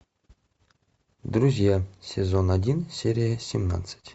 друзья сезон один серия семнадцать